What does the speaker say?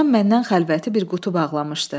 Anam məndən xəlvəti bir qutu bağlamışdı.